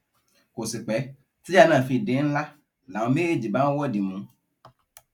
kò sí pé tíjà náà fi di ńlá làwọn méjèèjì bá ń wọdìmù